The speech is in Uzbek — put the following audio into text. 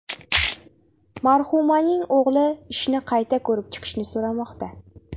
Marhumaning o‘g‘li ishni qayta ko‘rib chiqishni so‘ramoqda.